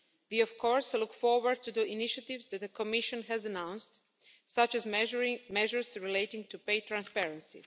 We of course look forward to the initiatives that the Commission has announced, such as measures relating to pay transparency.